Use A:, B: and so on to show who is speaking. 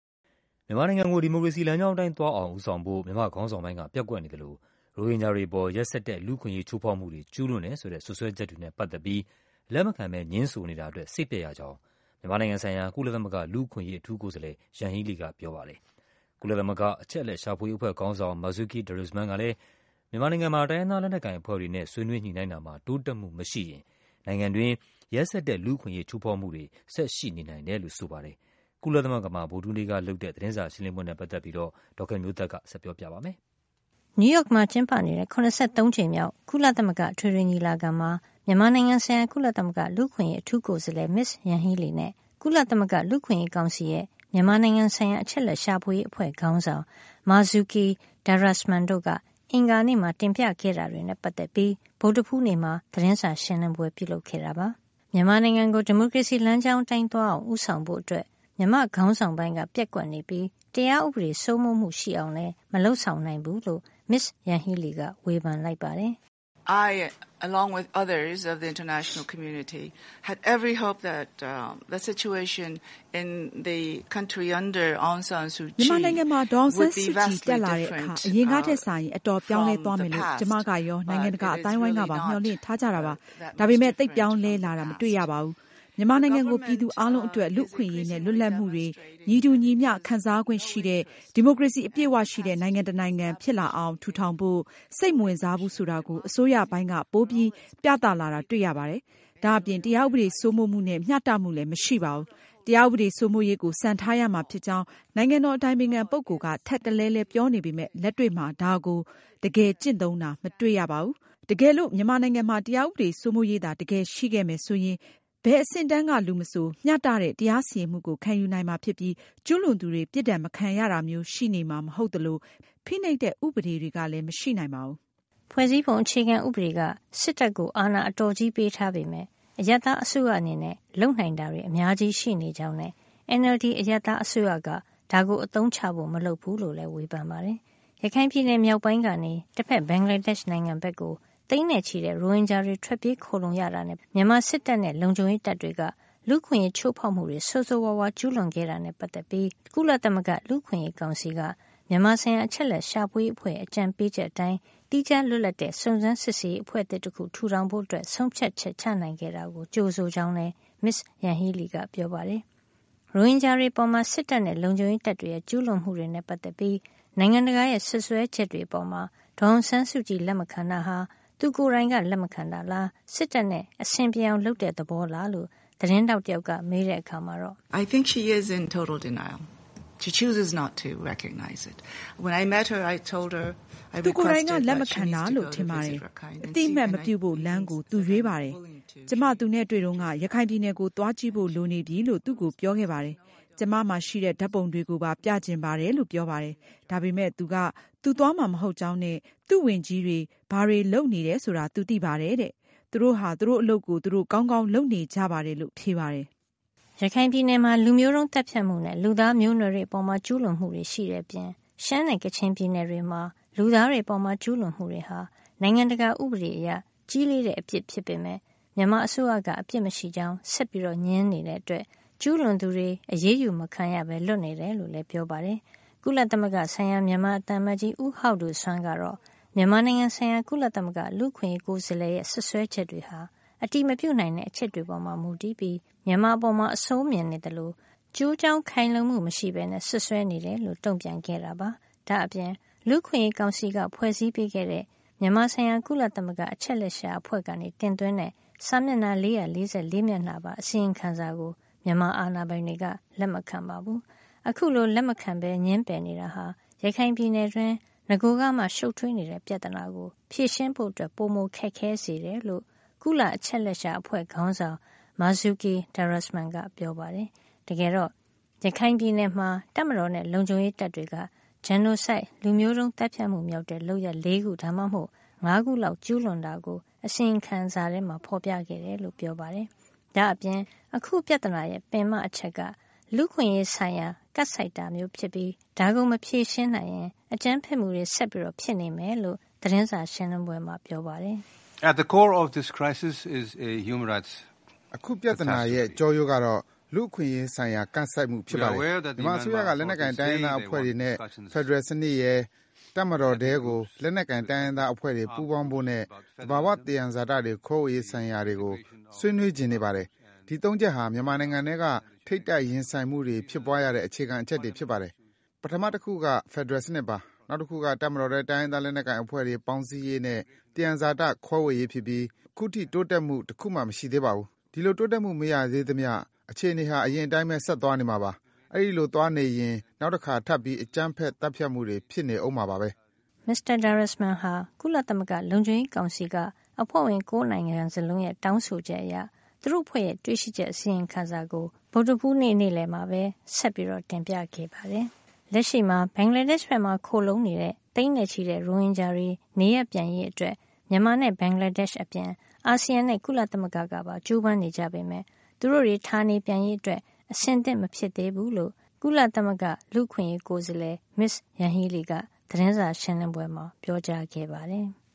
A: မြန်မာနိုင်ငံကို ဒီမိုကရေစီလမ်းကြောင်းအတိုင်း သွားအောင် ဦးဆောင်ဖို့ မြန်မာ့ခေါင်းဆောင်ပိုင်းက ပျက်ကွက်နေသလို ရိုဟင်ဂျာတွေ အပေါ် ရက်စက်တဲ့ လူ့အခွင့်ရေးချိုးဖေါက်မှုတွေ ကျူးလွန်ခဲ့တယ်ဆိုတဲ့ စွပ်စွဲချက်တွေနဲ့ ပတ်သက်ပြီး လက်မခံပဲ ငြင်းဆိုနေတာ အတွက် စိတ်ပျက်ရကြောင်း မြန်မာဆိုင်ရာ ကုလသမဂ္ဂ လူ့အခွင့်အရေး အထူးကိုယ်စားလှယ် Yanghee Lee က ပြောကြားလိုက်သလို ကုလရဲ့ မြန်မာအချက်အလက်ရှာဖွေရေး အဖွဲ့ ခေါင်းဆောင် Marzuki Darusman လည်း မြန်မာနိုင်ငံမှာ တိုင်းရင်းသား လက်နက်ကိုင်အဖွဲ့တွေနဲ့ ဆွေးနွေးညှိနှိုင်းမှုတွေ တိုးတက်မှု မရှိရင် နိုင်ငံတွင်း ရက်စက်တဲ့ လူ့အခွင့်ရေး ချိုးဖေါက်မှုတွေ ဆက်ရှိနေနိုင်တယ်လို့ ပြောပါတယ်။ ကုလသမဂ္ဂမှာ ပြုလုပ်တဲ့ သတင်းစာရှင်းလင်းပွဲနဲ့ ပတ်သက်ပြီး အပြည့်အစုံကို ဒေါ်ခင်မျိုးသက်က ပြောပြပေးမှာပါ
B: ။ နယူးရောက်မှာ ကျင်းပနေတဲ့ ၇၃ ကြိမ်မြောက် ကုလသမဂ္ဂ အထွေထွေညီလာခံမှာ မြန်မာဆိုင်ရာ ကုလသမဂ္ဂ လူ့အခွင့်အရေး အထူးကိုယ်စားလှယ် Ms Yanghee Lee နဲ့ ကုလသမဂ္ဂ လူ့အခွင့်ရေးကောင်စီရဲ့ မြန်မာဆိုင်ရာ အချက်အလက်ရှာဖွေရေး အဖွဲ့ ခေါင်းဆောင် Marzuki Darusman တု့ိက အင်္ဂါနေ့မှာ တင်ပြခဲ့တာတွေနဲ့ ပတ်သက်ပြီး ဗုဒ္ဓဟူးနေ့ မှာ သတင်းစာရှင်းလင်းပွဲပြုလုပ်ခဲ့တာပါ။ မြန်မာနိုင်ငံကို ဒီမိုကရေစီလမ်းကြောင်းအတိုင်း သွားအောင် ဦးဆောင်ဖို့ မြန်မာ့ခေါင်းဆောင်ပိုင်းက ပျက်ကွက်နေပြီး တရားဥပဒေ စိုးမိုးမှု ရှိအောင်လည်း မလုပ်ဆောင်နိုင်ဘူးလို့ Ms Yanghee Lee က ဝေဖန်လိုက်ပါတယ်။
C: “မြန်မာနိုင်ငံမှာ ဒေါ်အောင်ဆန်းစုကြည်တက်လာတဲ့ အခါ အရင်ကထက်စာရင် အတော်ပြောင်းလဲသွားမယ်လို့ ကျမကရော နိုင်ငံတကာ အသိုင်းအဝိုင်း ကပါ မျှော်လင့်ထား ကြတာပါ။ ဒါပေမယ့် သိပ်ပြောင်းလဲလာတာ မတွေ့ရပါဘူး။ မြန်မာနိုင်ငံကို ပြည်သူအားလုံးအတွက် လူ့အခွင့်ရေးနဲ့ လွတ်လပ်မှုတွေ ညီတူညီမျှ ခံစားခွင့်ရှိတဲ့ ဒီမိုကရေစီ အပြည့်အဝရှိတဲ့ နိုင်ငံတနိုင်ငံ ဖြစ်လာအောင် ထူထောင်ဖို့ စိတ်မဝင်စားဘူးဆိုတာကို အစိုးရပိုင်းက ပိုပြီး ပြသလာတာ တွေ့ရပါတယ်။ ဒါ့အပြင် တရားဥပဒေစိုးမိုးမှုနဲ့ မျှတမှုလည်း မရှိပါဘူး။ တရားဥပဒေစိုးမိုးရေးကို စံထားရမှာဖြစ်ကြောင်း နိုင်ငံတော် အတိုင်ပင်ခံပုဂ္ဂိုလ်က ထပ်တလဲလဲ ပြောနေပေမယ့် လက်တွေ့မှာ ဒါကို တကယ်ကျင့်သုံးတာ မတွေ့ရပါဘူး။ တကယ်လို့ မြန်မာနိုင်ငံမှာ တရားဥပဒေစိုးမိုးရေးသာ တကယ်ရှိခဲ့မယ် ဆိုရင် ဘယ်အဆင့်အတန်းက လူမဆို မျှတတဲ့ တရားစီရင်မှုကို ခံယူနိုင်မှာဖြစ်ပြီး ကျူးလွန်သူတွေ ပြစ်ဒဏ်မခံရတာမျိုး ရှိနေမှာ မဟုတ်သလို ဖိနှိပ်တဲ့ ဥပဒေတွေကလည်း မရှိနိုင်ပါဘူး။
B: ” ဖွဲ့စည်းပုံအခြေခံဥပဒေက စစ်တပ်ကို အာဏာအတော်ကြီးပေးထားပေမယ့် အရပ်သား အစိုးရအနေနဲ့ လုပ်နိုင်တာတွေ အများကြီး ရှိနေကြောင်းနဲ့ NLD အရပ်သားအစိုးရက ဒါကို အသုံးချဖို့ မလုပ်ဖူးလို့လည်း ဝေဖန်ပါတယ်။ ရခိုင်ပြည်နယ် မြောက်ပိုင်းကနေ တဖက်ဘင်္ဂလားဒေ့ရှ် နိုင်ငံဘက်ကို သိန်းနဲ့ ချီတဲ့ ရိုဟင်ဂျာတွေ ထွက်ပြေးခိုလှုံရတာ နဲ့ မြန်မာစစ်တပ်နဲ့ လုံခြုံရေးတပ်တွေက လူ့အခွင့်ရေး ချိုးဖေါက်မှုတွေ ဆိုးဆိုးဝါးဝါး ကျူးလွန်ခဲ့တာနဲ့ ပတ်သက်ပြီး ကုလသမဂ္ဂ လူ့အခွင့်ရေးကောင်စီက မြန်မာဆိုင်ရာ အချက်အလက် ရှာဖွေရေးအဖွဲ့ရဲ့ အကြံပေးချက်အတိုင်း သီးခြားလွတ်လပ်တဲ့ စုံစမ်းစစ်ဆေးရေး အဖွဲ့သစ်တခု ထူထောင်ဖို့ ဆုံးဖြတ်ချက်ချခဲ့တာအတွက် ကြိုဆိုကြောင်းလည်း မစ္စ Yanghee Lee ကပြောပါတယ်။ ရိုဟင်ဂျာတွေ အပေါ်စစ်တပ်နဲ့ လုံခြုံရေးတပ်တွေရဲ့ ကျူးလွန်မှုတွေနဲ့ ပတ်သက်ပြီး နိုင်ငံတကာရဲ့ စွပ်စွဲချက်တွေ အပေါ် ဒေါ်အောင်ဆန်းစုကြည် လက်မခံတာဟာ သူ့ကိုယ်တိုင်က လက်မခံတာလား စစ်တပ်နဲ့ အဆင်ပြေအောင် လုပ်တဲ့ သဘောလားလို့ သတင်းထောက်တယောက်က မေးတဲ့ အခါမှာတော့ “
C: သူကိုယ်တိုင်က လက်မခံတာလို့ ထင်ပါတယ်။ အသိအမှတ်မပြုဖို့ လမ်းကို သူရွေးပါတယ်။ ကျမ သူနဲ့တွေ့တုန်းက ရခိုင်ပြည်နယ်ကို သွားကြည့်ဖို့ လိုနေပြီလို့ သူ့ကိုပြောခဲ့ပါတယ်။ ကျမမှာ ရှိတဲ့ ဓါတ်ပုံတွေကိုပါ ပြချင်ပါတယ်လို့ ပြောပါတယ်။ ဒါပေမယ့် သူက သူသွားမှာ မဟုတ်ကြောင်းနဲ့ သူ့ဝန်ကြီးတွေ ဘာတွေ လုပ်နေတယ် ဆိုတာ သူသိပါတယ်တဲ့။ သူတို့ဟာ သူတို့ အလုပ်ကို သူတို့ကောင်းကောင်း လုပ်နေ
B: ကြပါတယ်လို့ပဲ ဖြေပါတယ်။” ရခိုင်ပြည်နယ်မှာ လူမျိုးတုန်းသတ်ဖြတ်မှုနဲ့ လူသားမျိုးနွယ်တွေ အပေါ် ကျူးလွန်မှုတွေ အပြင် ရှမ်းနဲ့ ကချင်ပြည်နယ်တွေမှာ လူသားတွေ အပေါ် ကျူးလွန်မှုတွေဟာ နိုင်ငံတကာ ဥပဒေအရ ကြီးလေးတဲ့ အပစ်ဖြစ်ပေမယ့် မြန်မာအစိုးရက အပြစ်မရှိကြောင်း ဆက်ငြင်းနေတာကြောင့် ကျူးလွန်သူတွေ အရေးယူမခံရပဲ လွတ်နေတယ်လို့ လည်း ပြောပါတယ်။ ကုလဆိုင်ရာ မြန်မာ သံအမတ်ကြီး ဦးဟောက်ဒိုစွမ်းကတော့ မြန်မာနိုင်ငံဆိုင်ရာ ကုလသမဂ္ဂ လူ့အခွင်ရေးကိုယ်စားလှယ်ရဲ့ စွပ်စွဲချက်တွေဟာ အတည်မပြုနိုင်တဲ့ အချက်လက်တွေ ပေါ်မူတည်ပြီး မြန်မာအပေါ် အဆိုးမြင်နေသလို ကျိုးကြောင်း ခိုင်လုံမှု မရှိပဲ စွပ်စွဲနေတယ်လို့ တုန့်ပြန်ခဲ့တာပါ။ ဒါ့အပြင် လူ့အခွင့်ရေးကောင်စီက ဖွဲ့စည်းပေးခဲ့တဲ့ မြန်မာဆိုင်ရာ ကုလသမဂ္ဂ အချက်လက်ရှာအဖွဲ့က တင်သွင်းတဲ့ စာမျက်နှာ ၄၄၄ မျက်နှာပါ အစီရင်ခံစာကို မြန်မာအာဏာပိုင်တွေက လက်မခံပါဘူး။ အခုလို လက်မခံ ငြင်းပယ်နေတာဟာ ရခိုင်ပြည်နယ်တွင်း နဂိုကမှ ရှုပ်ထွေးနေတဲ့ ပြဿနာကို ဖြေရှင်းဖို့ ပိုခက်ခဲစေတယ်လို့ ကုလအချက်လက်ရှာ အဖွဲ့ခေါင်းဆောင် Marzuki Darusman ကပြောပါတယ်။ တကယ်တော့ ရခိုင်ပြည်နယ်မှာ တပ်မတော်နဲ့ လုံခြုံရေးတပ်တွေက genocide လူမျိုးတုန်း သတ်ဖြတ်မှု မြောက်တဲ့ လုပ်ရပ် ၄ ခု ဒါမှမဟုတ် ၅ ခုလောက် ကျူးလွန်တာကို အစီရင်ခံစာမှာ ဖေါ်ပြခဲ့တယ်လို့ ပြောပါတယ်။ ဒါ့အပြင် အခု ပြဿနာရဲ့ အဓိကအချက်က လူ့အခွင့်ရေးဆိုင်ရာ ကပ်ဆိုက်တာ ဖြစ်ပြီး ဒါကို မဖြေရှင်းနိုင်ရင် အကြမ်းဖက်မှုတွေ ဆက်ဖြစ်နေမယ်လို့ သတင်းစာရှင်းလင်းပွဲမှာ ပြောပါတယ်
A: ။ “အခု ပြဿနာရဲ့ ကျောရိုးကတော့ လူ့အခွင့်ရေးဆိုင်ရာ ကပ်ဆိုက်မှုပဲ ဖြစ်ပါတယ်။ မြန်မာအစိုးရက လက်နက်ကိုင် တိုင်းရင်းသားအဖွဲ့တွေနဲ့ ဖက်ဒရယ်စံနစ်ရယ်၊ တပ်မတော်ထဲကို လက်နက်ကိုင်တိုင်းရင်းသားအဖွဲ့တွေ ပူးပေါင်းဖို့နဲ့ သဘာဝ သယံဇာတတွေ ခွဲဝေရေး ဆိုင်ရာတွေကို ဆွေးနွေးချင် နေပါတယ်။ ဒီ ၃ ချက်ဟာ မြန်မာနိုင်ငံထဲက ထိပ်တိုက်ရင်ဆိုင်မှုတွေ ဖြစ်ပွါးရတဲ့ အခြေခံအချက်တွေ ဖြစ်ပါတယ်။ ပထမတခုက ဖက်ဒရယ်စံနစ်ပါ။ နောက်တခုက တပ်မတော်ထဲ တိုင်းရင်းသား လက်နက်ကိုင်အဖွဲ့တွေပေါင်းစည်းရေးနဲ့ သယံဇာတ ခွဲဝေရေးဖြစ်ပြီး အခုထိ တိုးတက်မှု တခုမှ မရှိသေးပါဘူး။ ဒီလို တိုးတက်မှု မရသေးသမျှ အခြေနေဟာ အရင်အတိုင်းပဲ ဆက်သွားနေမှာပါ။ အဲဒီလို သွားနေရင် နောက်တခါ ထပ်ပြီး အကြမ်းဖက်သတ်ဖြတ်မှုတွေ ဖြစ်နေအုံးမှာပါပဲ။
B: ” မစ္စတာ Darusman ဟာ ကုလသမဂ္ဂ လုံခြုံရေးကောင်စီက အဖွဲ့ဝင် ၉ နိုင်ငံ စလုံးရဲ့ တောင်းဆိုချက်အရ သူတို့အဖွဲ့ရဲ့ တွေ့ရှိချက် အစီရင်ခံစာကို ဗုဒ္ဓဟူးနေ့ နေ့လည်မှာ ဆက်ပြီးတင်ပြခဲ့တာပါ။ လက်ရှိမှာ ဘင်္ဂလားဒေ့ရှ်ဘက်မှာ ခိုလှုံနေတဲ့ သိန်းနဲ့ ချီတဲ့ ရိုဟင်ဂျာတွေ နေရပ်ပြန်ရေးအတွက် မြန်မာနဲ့ ဘင်္ဂလားဒေ့ရှ် အပြင် အာဆီယံနဲ့ ကုလသမဂ္ဂကပါ ကြိုးပမ်းနေကြပေမယ့် သူတို့တွေ ဌာနေပြန်ရေးအတွက် အဆင်သင့်မဖြစ်သေးဘူးလို့လည်း မစ္စ Yanghee Lee က သတင်းစာရှင်းလင်းပွဲမှာ ပြောခဲ့ပါတယ်။